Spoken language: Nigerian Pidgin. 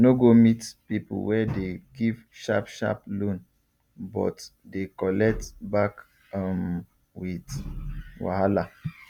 no go meet people wey dey give sharp sharp loan but dey collect back um with wahala